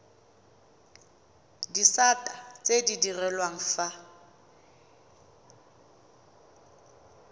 disata tse di direlwang fa